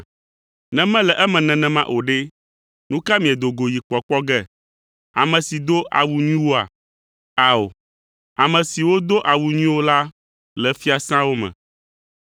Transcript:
Ne mele eme nenema o ɖe, nu ka miedo go yi kpɔkpɔ ge? Ame si do awu nyuiwoa? Ao, ame siwo do awu nyuiwo la le fiasãwo me.